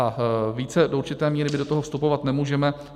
A více do určité míry my do toho vstupovat nemůžeme.